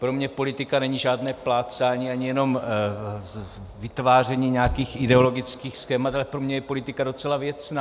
Pro mě politika není žádné plácání ani jenom vytváření nějakých ideologických schémat, ale pro mě je politika docela věcná.